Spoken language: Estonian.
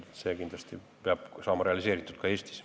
See tuleb kindlasti ka Eestis realiseerida.